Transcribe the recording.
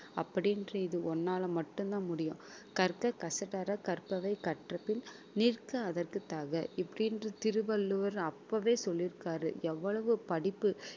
அப்படின்ற இது ஒண்ணால மட்டும்தான் முடியும் கற்க கசடற கற்பவை கற்றபின் நிற்க அதற்குத் தக இப்படின்டு திருவள்ளுவர் அப்பவே சொல்லியிருக்காரு எவ்வளவு படிப்பு